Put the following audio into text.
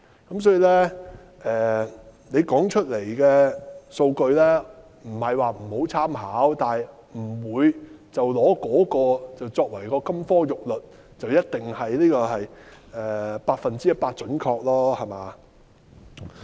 因此，政府提出來的數據不是不值得參考，但我們不會以那些數據作為金科玉律，不會覺得一定是百分之一百準確。